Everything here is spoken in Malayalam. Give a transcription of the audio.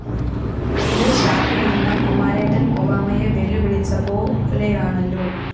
ഇത് ഷാപ്പിലിരുന്ന് കുമാരേട്ടന്‍ ഒബാമയെ വെല്ലുവിളിച്ചപോലെയാണല്ലോ?